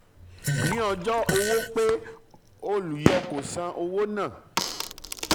ní ọjọ́ um owó um pé olùyọ kò san owó náà